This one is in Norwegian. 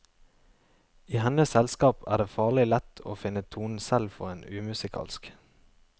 I hennes selskap er det farlig lett å finne tonen selv for en umusikalsk.